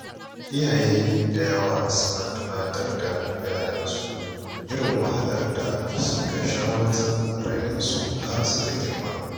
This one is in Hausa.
Iyaye da yawa suna tunatar da ‘ya‘yansu irin wahalar da suka sha wajen rainonsu har suka girma.